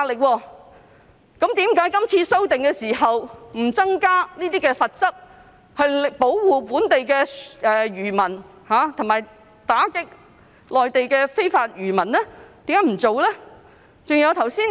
為何這次修訂不增加罰則，保護本地漁民，以及打擊內地漁民來港非法捕魚呢？